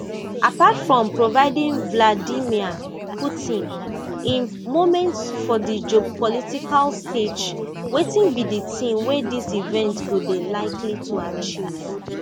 apart from providing vladimir putin im moment for di geopolitical stage wetin be di tin wey dis event go dey likely to achieve